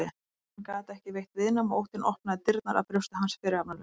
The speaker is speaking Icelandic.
En hann gat ekki veitt viðnám og óttinn opnaði dyrnar að brjósti hans fyrirhafnarlaust.